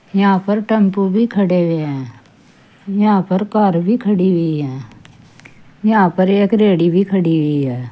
यहां पर टेंपो भी खड़े हुए हैं यहां पर कार भी खड़ी हुई है यहां पर एक रेहड़ी भी खड़ी हुई है।